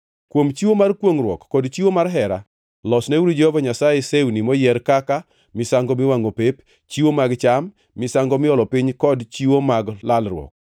“ ‘Kuom chiwo mar kwongʼruok kod chiwo mar hera, losneuru Jehova Nyasaye sewni moyier kaka: misango miwangʼo pep, chiwo mag cham, misango miolo piny kod chiwo mag lalruok.’ ”